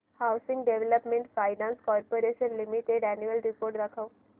housing development finance corporation limited annual report दाखव